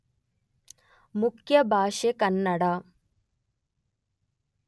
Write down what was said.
ಮುಖ್ಯ ಭಾಷೆ ಕನ್ನಡ.